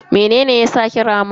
Mene ne yake saki rama ne?